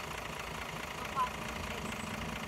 Mphasis LTD